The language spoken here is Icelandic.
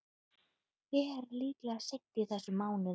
Ber líklega seint í þessum mánuði.